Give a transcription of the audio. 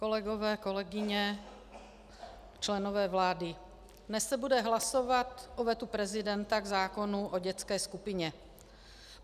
Kolegové, kolegyně, členové vlády, dnes se bude hlasovat o vetu prezidenta k zákonu o dětské skupině.